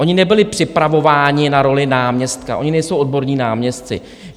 Oni nebyli připravováni na roli náměstka, oni nejsou odborní náměstci.